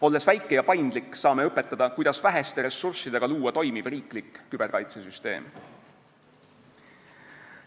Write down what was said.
Olles väike ja paindlik, saame õpetada, kuidas väheste ressurssidega luua toimiv riiklik küberkaitsesüsteem.